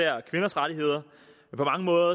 er på mange måder